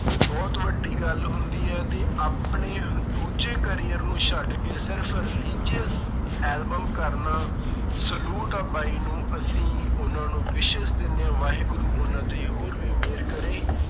ਬਹੁਤ ਵੱਡੀ ਗੱਲ ਹੁੰਦੀ ਹੈ ਤੇ ਆਪਣੇ ਦੂਜੇ career ਨੂੰ ਛੱਡ ਕੇ ਸਿਰਫ਼ religious album ਕਰਨਾ salute ਆ ਬਾਈ ਨੂੰ ਅਸੀਂ ਉਹਨਾਂ ਨੂੰ wishes ਦਿੰਦੇ ਹਾਂ ਵਾਹਿਗੁਰੂ ਉਹਨਾਂ ਤੇ ਹੋਰ ਵੀ ਮਿਹਰ ਕਰੇ